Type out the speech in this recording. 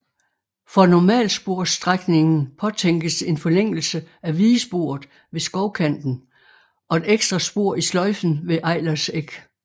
For normalsporsstrækningen påtænkes en forlængelse af vigesporet ved Skovkanten og et ekstra spor i sløjfen ved Eilers Eg